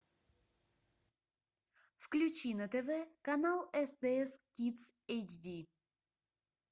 включи на тв канал стс кидс эйч ди